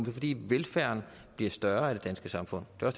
er fordi velfærden bliver større i det danske samfund det er